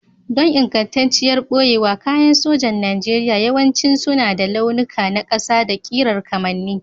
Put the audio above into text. Don ingantacciyar ɓoyewa, kayan sojan Najeriya yawanci suna da launuka na ƙasa da ƙirar kamanni.